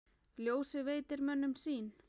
Ljósið veitir mönnum sýn.